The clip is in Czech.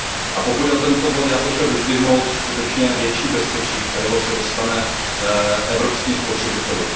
A pokud jde o tento bod, chtěl bych vyzdvihnout skutečně větší bezpečí, kterého se dostane evropským spotřebitelům.